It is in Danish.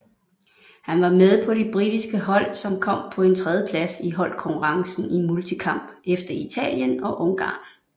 Han var med på det britiske hold som kom på en tredjeplads i holdkonkurrencen i multikamp efter Italien og Ungarn